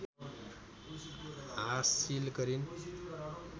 हासिल गरिन्